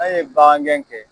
An ye bagan gɛn kɛ